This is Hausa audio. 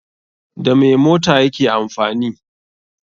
Da me mota yake amfani